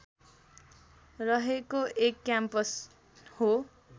रहेको एक क्याम्पस हो